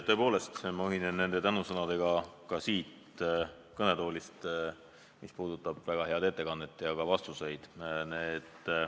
Tõepoolest, ka mina siit kõnetoolist ühinen nende tänusõnadega, mis puudutavad väga head ettekannet ja häid vastuseid.